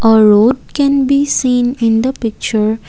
a road can be seen in the picture.